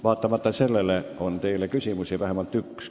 Vaatamata sellele on teile vähemalt üks küsimus.